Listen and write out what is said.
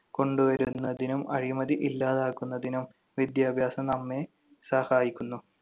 കൊണ്ടുവരുന്നതിനും അഴിമതി ഇല്ലാതാക്കുന്നതിനും വിദ്യാഭ്യാസം നമ്മെ സഹായിക്കുന്നു.